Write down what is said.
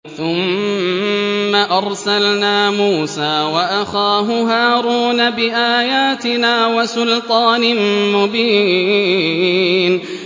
ثُمَّ أَرْسَلْنَا مُوسَىٰ وَأَخَاهُ هَارُونَ بِآيَاتِنَا وَسُلْطَانٍ مُّبِينٍ